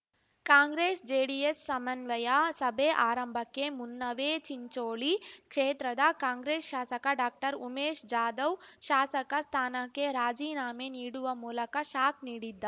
ಕಾಂಗ್ರೆಸ್ ಜೆಡಿಎಸ್ ಸಮನ್ವಯ ಸಭೆ ಆರಂಭಕ್ಕೆ ಮುನ್ನವೇ ಚಿಂಚೋಳಿ ಕ್ಷೇತ್ರದ ಕಾಂಗ್ರೆಸ್ ಶಾಸಕ ಡಾಕ್ಟರ ಉಮೇಶ್ ಜಾಧವ್ ಶಾಸಕ ಸ್ಥಾನಕ್ಕೆ ರಾಜೀನಾಮೆ ನೀಡುವ ಮೂಲಕ ಶಾಕ್ ನೀಡಿದ್ದಾ